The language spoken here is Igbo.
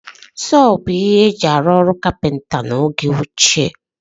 Sọọ bụ isi ihe e ji arụ ọrụ kapịnta n'oge ochie